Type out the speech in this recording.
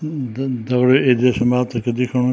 म द दगड़ियों ये दृश्य मा आपथे जू दिखेणु --